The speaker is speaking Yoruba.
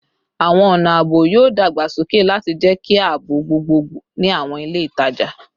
Awọn ọna aabo yoo dagbasoke lati jẹki aabo gbogbogbo ni awọn ile itaja